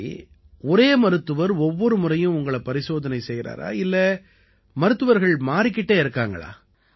சரி ஒரே மருத்துவர் ஒவ்வொரு முறையும் உங்களை பரிசோதனை செய்யறாரா இல்லை மருத்துவர்கள் மாறிக்கிட்டே இருக்காங்களா